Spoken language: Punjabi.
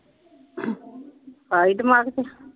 ਆਈ ਦਿਮਾਗ ਚ।